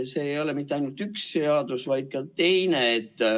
See ei ole ju ainult üks seadus, on ka teine.